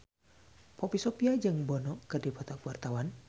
Poppy Sovia jeung Bono keur dipoto ku wartawan